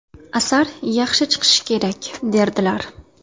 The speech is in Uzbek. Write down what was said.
Asar yaxshi chiqishi kerak”, derdilar.